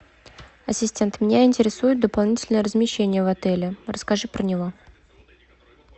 ассистент меня интересует дополнительное размещение в отеле расскажи про него